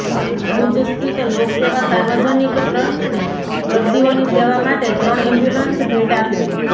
ભૂજ સ્થિત લોકસેવા સાર્વજનિક ટ્રસ્ટને દર્દીઓની સેવા માટે ત્રણ એમ્બ્યુલન્સ ભેટ આપી